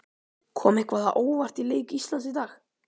Kom eitthvað á óvart í leik Íslands í dag?